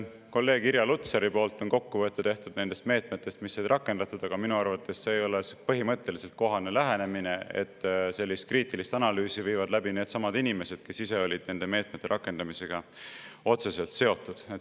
Kolleeg Irja Lutsar on teinud kokkuvõtte meetmetest, mis said rakendatud, aga minu arvates põhimõtteliselt ei ole kohane lähenemine see, et sellist kriitilist analüüsi viivad läbi needsamad inimesed, kes ise olid nende meetmete rakendamisega otseselt seotud.